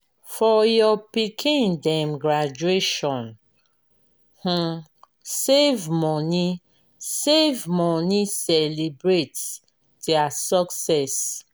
for your pikin dem graduation um save money save money celebrate their success.